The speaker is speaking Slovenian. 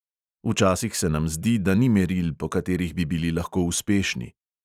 Včasih se nam zdi, da ni meril, po katerih bi bili lahko uspešni.